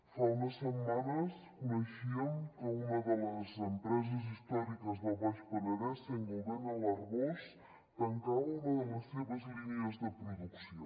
fa unes setmanes coneixíem que una de les empreses històriques del baix penedès saint gobain a l’arboç tancava una de les seves línies de producció